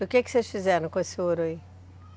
E o que que vocês fizeram com esse ouro aí?